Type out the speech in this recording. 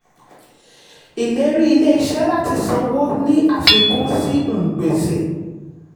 ìlérí ilé-iṣẹ́ láti sanwó ni àfikún sí um gbèsè.